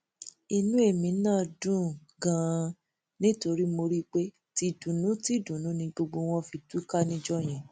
inú èmi náà dùn ganan nítorí mo rí i pé tìdùnnútìdùnnú ni gbogbo wọn fi túká níjọ yẹn